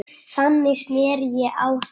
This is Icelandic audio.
Þannig sneri ég á þá.